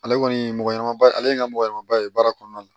Ale kɔni mɔgɔ ɲanamaba ale ye n ka mɔgɔ ɲanamaba ye baara kɔnɔna na